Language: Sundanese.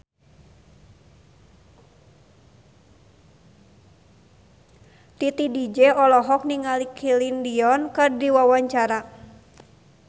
Titi DJ olohok ningali Celine Dion keur diwawancara